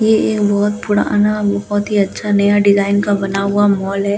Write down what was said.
ये एक बहुत पुराना बहुत ही अच्‍छा नया डिजाइन का बना हुआ मॉल है जिसके बारे --